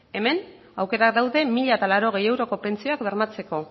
hemen aukerak daude mila laurogei euroko pentsioak bermatzeko